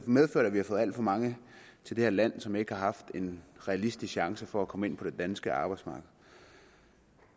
medført at vi har fået alt for mange til det her land som ikke har haft en realistisk chance for at komme ind på det danske arbejdsmarked